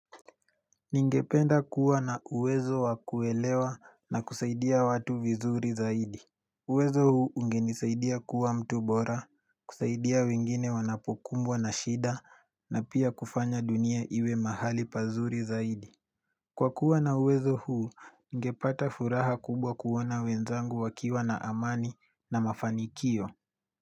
Ningependa kuwa na uwezo wa kuelewa na kusaidia watu vizuri zaidi uwezo huu ungenisaidia kuwa mtu bora, kusaidia wengine wanapokumbwa na shida na pia kufanya dunia iwe mahali pazuri zaidi Kwa kuwa na uwezo huu, ningepata furaha kubwa kuona wenzangu wakiwa na amani na mafanikio.